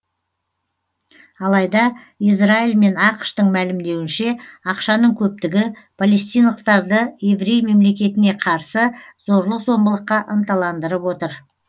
алайда израиль мен ақш тың мәлімдеуінше ақшаның көптігі палестиналықтарды еврей мемлекетіне қарсы зорлық зомбылыққа ынталандырып отыр